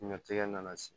Diɲɛtigɛ nana se